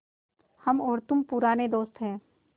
हम और तुम पुराने दोस्त हैं